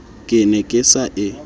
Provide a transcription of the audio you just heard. ke ne ke sa e